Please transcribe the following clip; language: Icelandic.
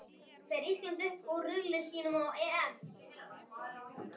Fer Ísland upp úr riðli sínum á EM?